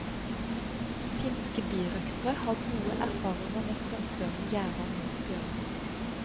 Finske birøktere har gode erfaringer med strømførende gjerder mot bjørner.